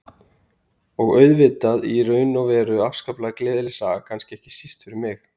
Og auðvitað í raun og veru afskaplega gleðileg saga, kannski ekki síst fyrir mig.